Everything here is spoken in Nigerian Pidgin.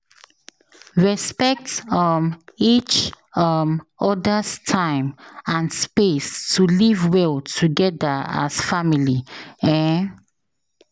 Respect um each um other’s time and space to live well together as family. um